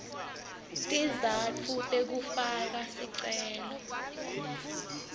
tizatfu tekufaka sicelo